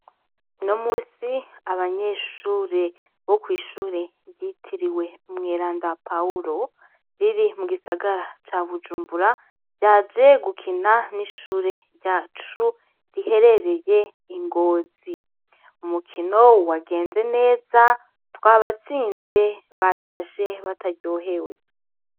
Uno munsi, abanyeshure bo kw'ishure ryitiriwe umweranda Pahuro, riri mu gisagara ca Bujumbura, ryaje gukina n'ishure ryacu riherereye i Ngozi; umukino wagenze neza, twabatsinze, batashe bataryohewe.